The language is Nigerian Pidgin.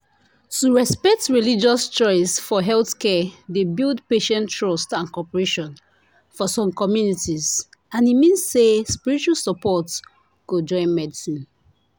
to respect religious choice for healthcare dey build patient trust and cooperation for some communities and e mean say spiritual support go join medicine